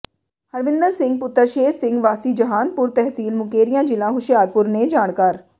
ਹਰਵਿੰਦਰ ਸਿੰਘ ਪੁੱਤਰ ਸ਼ੇਰ ਸਿੰਘ ਵਾਸੀ ਜਹਾਨਪੁਰ ਤਹਿਸੀਲ ਮੁਕੇਰੀਆਂ ਜ਼ਿਲ੍ਹਾ ਹੁਸ਼ਿਆਰਪੁਰ ਨੇ ਜਾਣਕਾਰ